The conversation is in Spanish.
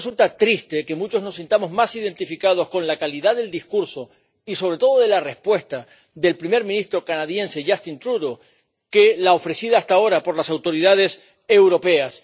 Por eso resulta triste que muchos nos sintamos más identificados con la calidad del discurso, y sobre todo de la respuesta, del primer ministro canadiense, Justin Trudeau, que con la ofrecida hasta ahora por las autoridades europeas.